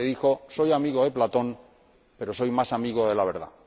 le dijo soy amigo de Platón, pero soy más amigo de la verdad.